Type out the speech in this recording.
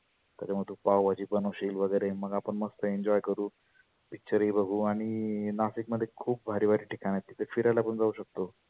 त्याच्यामुळ तु पाव भाजी बनवशील वगैरे मग आपण मस्त enjoy करु. picture ही बघु आणि नाशिकमध्ये खुप भारी भारी ठिकाण आहे तिथ फिरायला पण जाऊ शकतो.